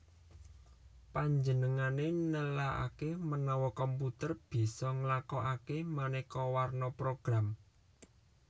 Panjenengané nelaaké menawa komputer bisa nglakokaké manéka warna program